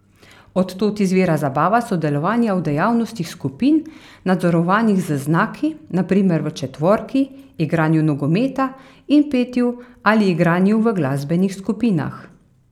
Od tod izvira zabava sodelovanja v dejavnostih skupin, nadzorovanih z znaki, na primer v četvorki, igranju nogometa in petju ali igranju v glasbenih skupinah.